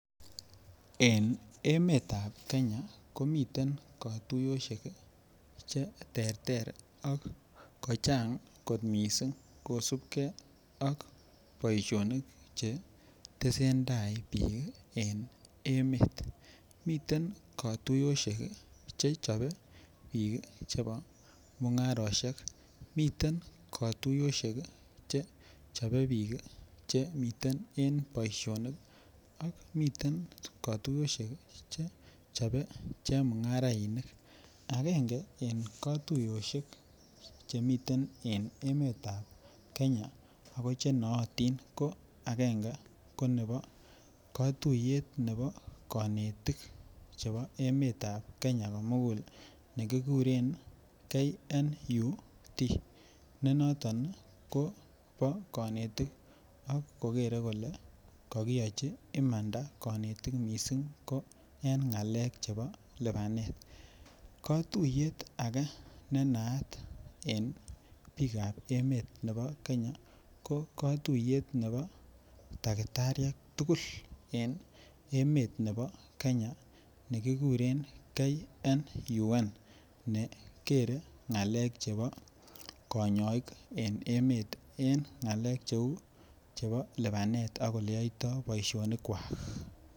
En emetab Kenya komiten kotuyoshek kii cheterter ak kochang kot missing kosibigee ak boishonik chetesetai bik en emet. Miten kotuyoshek kii chechobe bik kii chebo mungaroshek miten kotuyoshek kiiche chobe bik kii chemiten en boishonik ak miten3 kotuyoshek kii chechobe chemungarainik. Agenge en kotuyoshek chemiten en emetab Kenya ko chenootin ko agenge ko nebo kotuye nebo konetik chebo emetab Kenya komungul nekikuren KNUT ne noton Nii ko bo konetik ak kokere kole kokiyochi imanda konetik missing ko en ngalek chebo lipanet. Kotuyet age ne naat en bikab emet nebo Kenya ko kotuyet nebo takitariek tukuk en emet nebo Kenya nekikure KNUN ne kere ngalek chebo konyoik en emet en ngelek cheu lipanet ak oleyoito boishoni kwak.